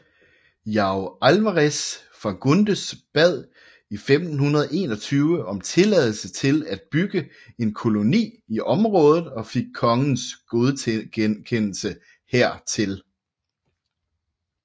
João Álvares Fagundes bad i 1521 om tilladelse til at bygge en koloni i området og fik kongens godkendelse hertil